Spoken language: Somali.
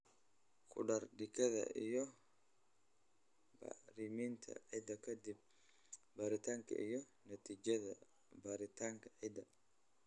Ku dar digada iyo bacriminta ciidda ka dib baaritaanka iyo natiijada baaritaanka ciidda.